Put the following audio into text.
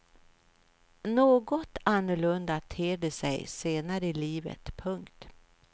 Något annorlunda ter det sig senare i livet. punkt